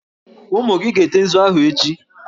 Ụmụ gị ga-ete nzu ahụ echi!